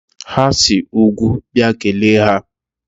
Ha si n'úgwú bịa, kelee ha!